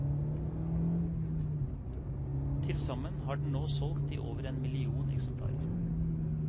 Tilsammen har den nå solgt i over en halv million eksemplarer.